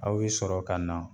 Aw bi sɔrɔ ka na